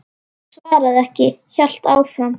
Hann svaraði ekki, hélt áfram.